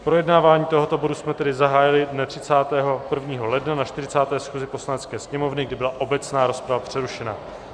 Projednávání tohoto bodu jsme tedy zahájili dne 31. ledna na 40. schůzi Poslanecké sněmovny, kdy byla obecná rozprava přerušena.